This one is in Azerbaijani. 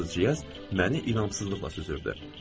Fransızcasız məni iramsızlıqla süzürdü.